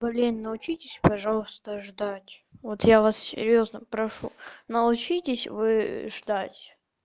блин научитесь пожалуйста ждать вот я вас серьёзно прошу научитесь вы ждать